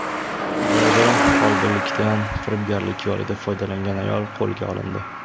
Qibrayda folbinlikdan firibgarlik yo‘lida foydalangan ayol qo‘lga olindi.